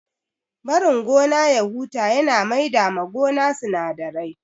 Barin gona ya huta ya na maida ma gona sinadarai